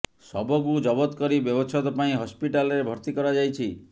ଶବକୁ ଜବତ କରି ବ୍ୟବଛେଦ ପାଇଁ ହସ୍ପିଟାଲରେ ଭର୍ତ୍ତି କରାଯାଇଛି